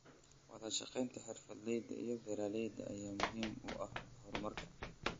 Wadashaqeynta xirfadleyda iyo beeralayda ayaa muhiim u ah horumarka.